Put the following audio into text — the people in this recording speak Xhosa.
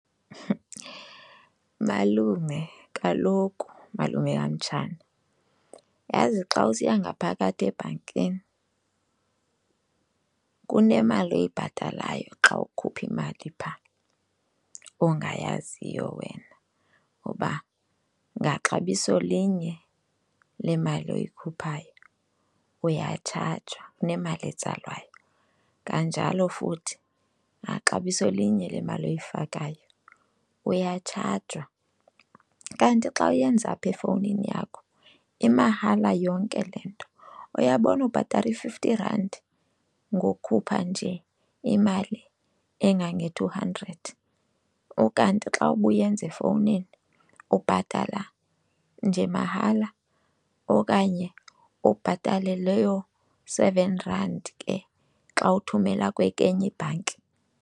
Malume, kaloku malume kamtshana, yazi xa usiya ngaphakathi ebhankini kunemali oyibhatalayo xa ukhupha imali phaa ongayaziyo wena uba ngaxabiso linye lemali oyikhuphayo uyatshajwa, kunemali etsalwayo, kanjalo futhi naxabiso linye lemali oyifakayo uyatshajwa. Kanti xa uyenza apha efowunini yakho imahala yonke le nto. Uyabona ubhatala i-fifty rand ngokukhupha nje imali engange-two hundred, ukanti xa ubuyenza efowunini ubhatala nje mahala okanye ubhatale leyo seven rand ke xa uthumela kwenye ibhanki.